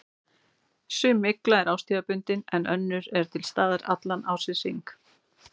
Sum mygla er árstíðabundin en önnur er til staðar allan ársins hring.